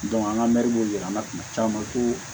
an ka bɛ yir'an na kuma caman ko